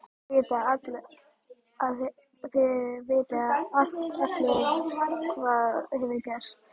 Þið vitið allir hvað hefur gerst.